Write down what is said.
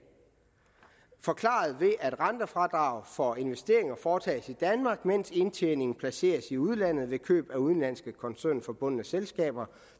forklares ved at rentefradrag for investeringer foretages i danmark mens indtjening placeres i udlandet ved køb eller udenlandske koncernforbundne selskaber